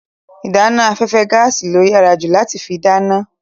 Ìdáná afẹ́fẹ́ gaàsì ló yàrá ju láti fi dáná.